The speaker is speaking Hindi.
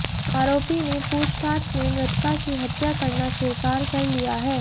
आरोपी ने पूछताछ में मृतका की हत्या करना स्वीकार कर लिया है